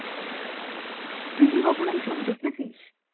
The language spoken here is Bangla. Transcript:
তুই কি কখনো এসব দেখেছিস?